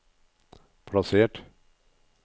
plassert